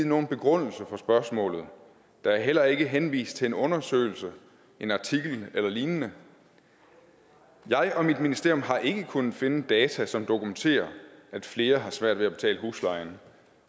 nogen begrundelse for spørgsmålet der er heller ikke henvist til en undersøgelse en artikel eller lignende jeg og mit ministerium har ikke kunnet finde data som dokumenterer at flere har svært ved at betale huslejen